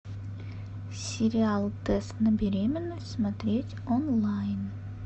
сериал тест на беременность смотреть онлайн